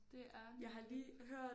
Det er nemlig